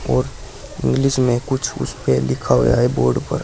और इंग्लिश में कुछ उसपे लिखा हुआ है बोर्ड पर।